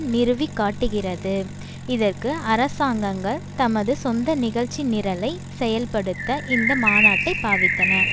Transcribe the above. நிறுவிக்காட்டுகின்றது இதற்கு அரசாங்கங்கள் தமது சொந்த நிகழ்ச்சி நிரலை செயல்படுத்த இந்த மாநாட்டைப் பாவித்தன